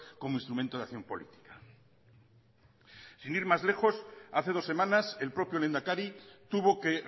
como instrumento de acción política sin ir más lejos hace dos semanas el propio lehendakari tuvo que